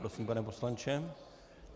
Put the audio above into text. Prosím, pane poslanče.